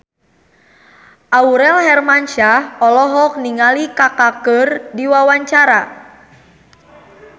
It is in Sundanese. Aurel Hermansyah olohok ningali Kaka keur diwawancara